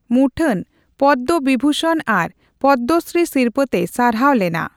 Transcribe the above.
ᱢᱩᱴᱷᱟᱹᱱ ᱯᱚᱫᱽᱫᱚᱵᱤᱵᱷᱩᱥᱚᱱ ᱟᱨ ᱯᱚᱫᱽᱫᱚᱥᱨᱤ ᱥᱤᱨᱯᱟᱹᱛᱮᱭ ᱥᱟᱨᱦᱟᱣ ᱞᱮᱱᱟ ᱾